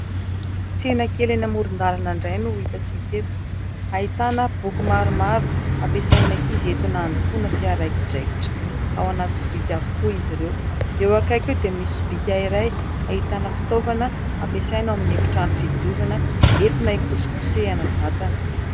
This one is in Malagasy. Tsena kely eny amoron-dalana indray no hitantsika eto. Ahitana boky maromaro, ampisain'ny ankizy entina handokoana sy araikidraikitra. Ao anaty sobika avokoa izy ireo. Eo akaiky eo dia misy sobika iray, ahitana fitaovana ampisaina ao amin'ny trano fidiovana, entina hikosikosehana vatana.